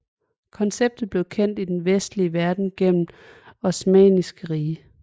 Konceptet blev kendt i den vestlige verden gennem Osmanniske Rige